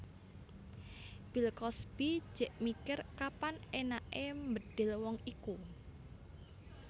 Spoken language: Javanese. Bill Cosby jek mikir kapan enak e mbedil wong iku